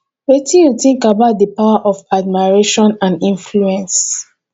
wetin you think about di power of admiration and influence